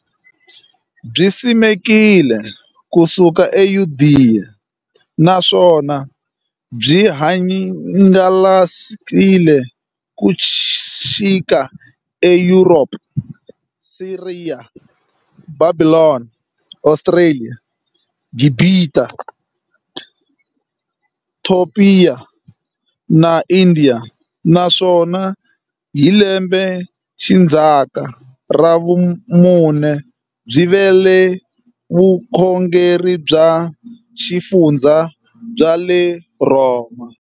Byisimekiwe ku suka e Yudeya, naswona byi hangalake ku xika eYuropa, Siriya, Bhabhilona, Australia, Gibhita, Topiya na Indiya, naswona hi lembexindzaka ra vumune byi vile vukhongeri bya ximfumo bya le Rhoma.